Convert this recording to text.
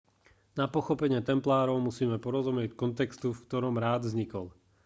na pochopenie templárov musíme porozumieť kontextu v ktorom rád vznikol